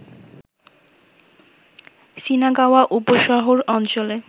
Shinagawa উপশহর অঞ্চলে